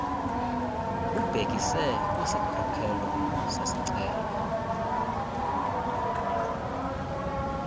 ubhekise kwisikhokelo sesicelo